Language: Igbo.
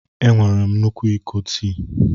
Enwere m nnukwu iko tii.